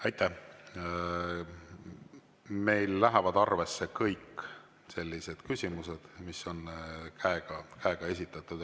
Meil lähevad arvesse kõik sellised küsimused, mille esitamise eel on käe.